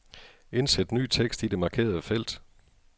Indsæt ny tekst i det markerede felt.